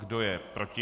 Kdo je proti?